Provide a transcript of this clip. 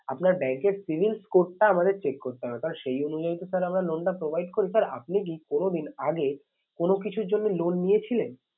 আপনার bank এর cibil code টা আমাদের check করতে হবে। কারণ সেই অনুযায়ী তো sir আমরা loan টা provide করি sir আপনি কি কোনো দিন আগে কোনো কিছুর জন্য loan নিয়েছিলেন?